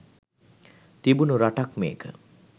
තිබුණු රටක් මේක.